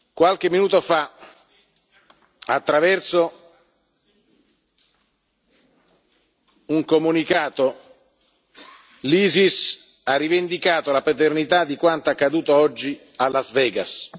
Qualche minuto fa, attraverso un comunicato, l'Isis ha rivendicato la paternità di quanto accaduto oggi a Las Vegas.